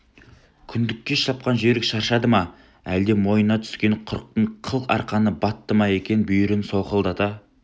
күндікке шапқан жүйрік шаршады ма әлде мойнына түскен құрықтың қыл арқаны батты ма екі бүйірін солқылдата